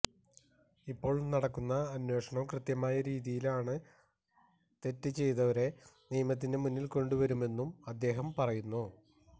ഇപ്പോള് നടക്കുന്ന അന്വേഷണം കൃത്യമായ രീതിയിലാണ് തെറ്റ് ചെയ്തവരെ നിയമത്തിന്റെ മുന്നില് കൊണ്ടുവരുമെന്നും അദ്ദേഹം പറയുന്നു